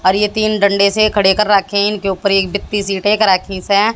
और ये तीन डंडे से खड़े कर रखें इनके ऊपर एक व्यक्ति से--